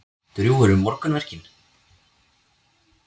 Drjúg eru morgunverkin.